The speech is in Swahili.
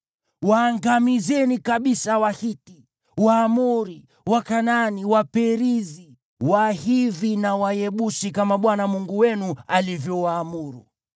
Waangamizeni kabisa Wahiti, Waamori, Wakanaani, Waperizi, Wahivi na Wayebusi, kama Bwana Mungu wenu alivyowaamuru.